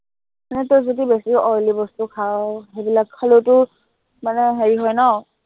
মানে তই যদি বেছি oily বস্তু খাৱ, সেইবিলাক খালেও তোৰ মানে হেৰি হয় ন?